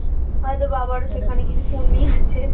হয়ত বাবারও সেখানে কিছু পূণ্যি আছে